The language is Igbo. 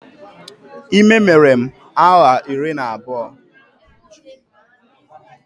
Ime mere m awa iri na abụọ